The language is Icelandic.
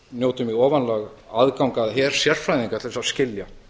njótum í ofanálag aðgangs að her sérfræðinga til að skilja